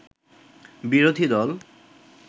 বিরোধী দল